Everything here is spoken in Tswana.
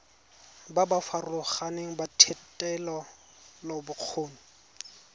ba ba farologaneng ba thetelelobokgoni